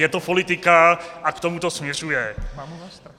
Je to politika a k tomu to směřuje.